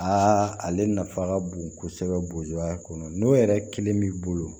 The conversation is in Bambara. Aa ale nafa ka bon kosɛbɛ ya kɔnɔ n'o yɛrɛ kelen b'i bolo